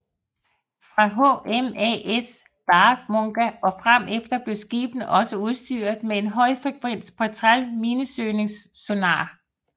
Fra HMAS Warramunga og fremefter blev skibene også udstyret med en højfrekvent Petrel minesøgningssonar